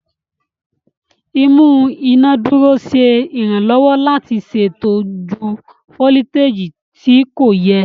Imú inádúró ṣe iranlọwọ láti ṣètò jù foliteji tí kò yẹ.